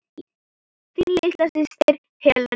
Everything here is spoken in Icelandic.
Þín litla systir, Helena.